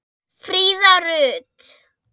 Fríða Rut.